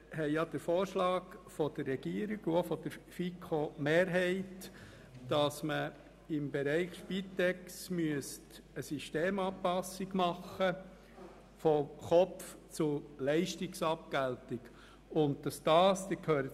Die Regierung und die FiKo-Mehrheit schlagen vor, im Bereich der Spitex eine Systemanpassung von der Kopf- zu Leistungsabgeltung vorzunehmen.